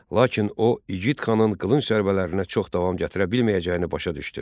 Lakin o, igid xanın qılınc zərbələrinə çox davam gətirə bilməyəcəyini başa düşdü.